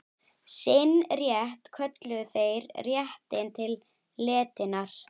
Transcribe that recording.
Sinn rétt kölluðu þeir réttinn til letinnar.